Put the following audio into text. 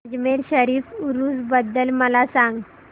अजमेर शरीफ उरूस बद्दल मला सांग